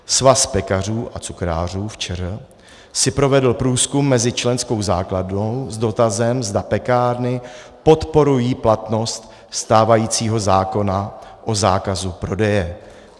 Svaz pekařů a cukrářů v ČR si provedl průzkum mezi členskou základnou s dotazem, zda pekárny podporují platnost stávajícího zákona o zákazu prodeje.